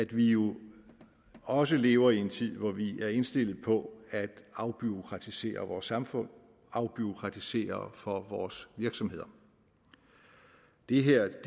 vi jo også lever i en tid hvor vi er indstillet på at afbureaukratisere vores samfund og afbureaukratisere for vores virksomheder det her